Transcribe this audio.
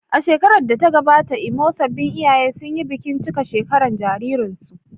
A shekarar da ta gabata a Imo, sabbin iyaye sun yi bikin cika shekara jaririnsu.